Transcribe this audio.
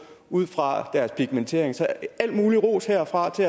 ud fra deres pigmentering så al mulig ros herfra